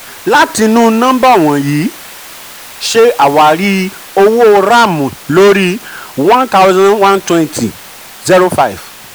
láti'nu nọ́mbà wọ̀nyí ṣé awarì owó ram lórí 1120 05.